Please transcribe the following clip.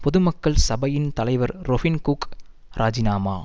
பொதுமக்கள் சபையின் தலைவர் ரொபின் குக் ராஜினாமா